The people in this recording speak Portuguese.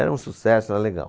Era um sucesso, era legal.